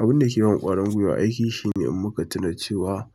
Abin da ke ban ƙwarin gwiwa aiki shine in muka tuna cewa